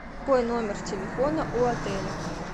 какой номер телефона у отеля